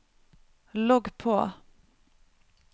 logg på